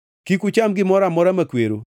Kik ucham gimoro amora makwero.